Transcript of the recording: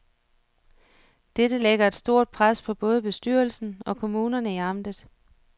Dette lægger et stort pres på både bestyrelsen og kommunerne i amtet.